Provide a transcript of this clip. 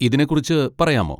ഇതിനെ കുറിച്ച് പറയാമോ?